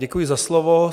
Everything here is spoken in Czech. Děkuji za slovo.